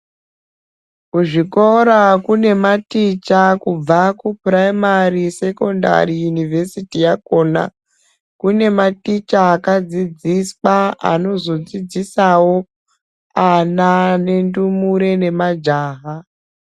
Kuzvikora kunematicha kubva kupurayimari sekondari yunivhesiti yakona kune maticha akadzidziswa anozo dzidzisawo ana nendumure nemajaha.